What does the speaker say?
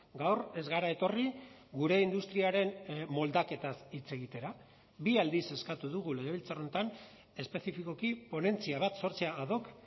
gaur ez gara etorri gure industriaren moldaketaz hitz egitera bi aldiz eskatu dugu legebiltzar honetan espezifikoki ponentzia bat sortzea a doc